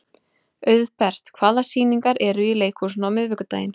Auðbert, hvaða sýningar eru í leikhúsinu á miðvikudaginn?